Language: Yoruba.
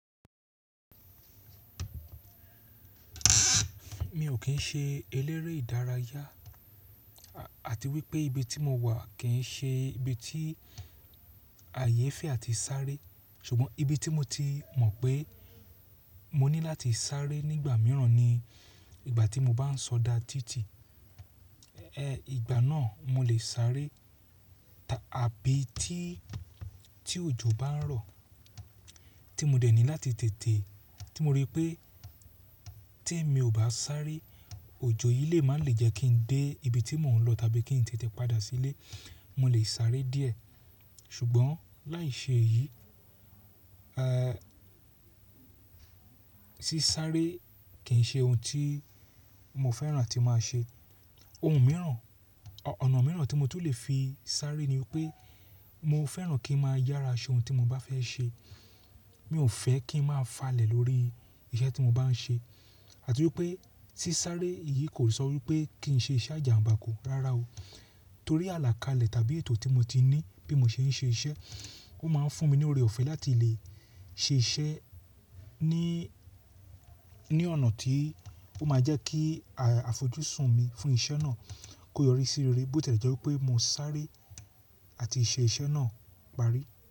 Mi ò kín ṣe eléré ìdárayá àti wípé ibi tí mo wà kì í ṣe ibi tí ààyè fẹ́ àti sáré. Ṣùgbọ́n ibi tí mo ti mọ̀ pé mo ní láti sáré nígbà mìíràn ni ìgbà tí mo bá ń sọdá títì. Ẹ̀ ìgbà náà mo lè sáré tàbí tí, tí òjò bá ń rọ̀ tí mo dẹ̀ ní láti tètè tí mo rí pé tí èmi ò bá sáré, òjò yìí lè má ń lè jẹ́ kí n dé ibi tí mò ń lọ tàbí kí n tètè padà sí ilé. Mo lè sáré díẹ̀. Ṣùgbọ́n láì ṣe èyí, ẹ́ ṣí sáré kì í ṣe ohun tí mo fẹ́ràn a tí máa ṣe. Ohun mìíràn, ọ̀nà mìíràn tí mo tún lè fi sáré ni wípé mo fẹ́ràn kí n máa yára ṣe ohun tí mo bá fẹ́ ṣe. Mi ò fẹ́ kí n máa falẹ̀ lórí iṣẹ́ tí mo bá ń ṣe àti wípé si sáré yìí kò sọ wípé kí n ṣe iṣẹ́ àjàǹbá ku rárá o. Torí àlàkalẹ̀ tàbí ètò tí mo ti ní bí mo ṣe ń ṣe iṣẹ́, ó máa ń fún mi ní oore ọ̀fẹ́ láti lè ṣe iṣẹ́ ní, ní ọ̀nà tí ó máa jẹ́ kí àfojúsùn mi fún iṣẹ́ náà kó yọrí sí rere bó tẹ jẹ wipé mo sáré àti ṣe iṣẹ́ náà parí.